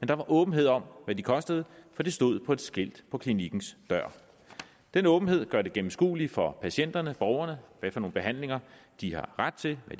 der var åbenhed om hvad de kostede for det stod på et skilt på klinikkens dør den åbenhed gør det gennemskueligt for patienterne borgerne hvilke behandlinger de har ret til og